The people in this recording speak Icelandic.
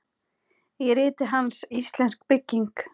Í riti hans, Íslensk bygging